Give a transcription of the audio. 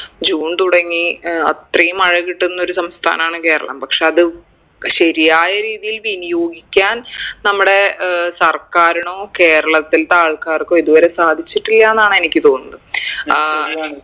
June തുടങ്ങി ഏർ അത്രയും മഴ കിട്ടുന്നൊരു സംസ്ഥാനാണ് കേരളം പക്ഷെ അത് ശരിയായ രീതിയിൽ വിനിയോഗിക്കാൻ നമ്മടെ ഏർ സർക്കാരിനോ കേരളത്തിൽത്തെ ആൾക്കാർക്കോ ഇതുവരെ സാധിച്ചിട്ടില്ലാന്നാണ് എനിക്ക് തോന്നുന്നെ ഏർ